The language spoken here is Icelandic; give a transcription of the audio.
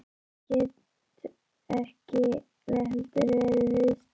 Að ég gæti ekki heldur verið viðstödd.